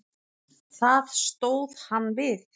Það stóð hann við.